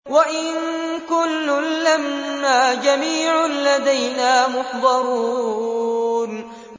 وَإِن كُلٌّ لَّمَّا جَمِيعٌ لَّدَيْنَا مُحْضَرُونَ